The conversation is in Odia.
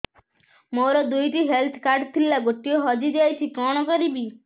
ମୋର ଦୁଇଟି ହେଲ୍ଥ କାର୍ଡ ଥିଲା ଗୋଟିଏ ହଜି ଯାଇଛି କଣ କରିବି